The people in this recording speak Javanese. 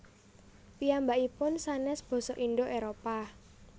Piyambakipun sanès basa Indo Éropah